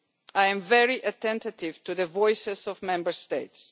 I am very attentive to the voices of Member States.